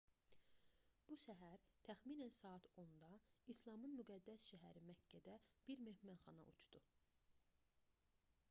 bu səhər təxminən saat 10-da i̇slamın müqəddəs şəhəri məkkədə bir mehmanxana uçdu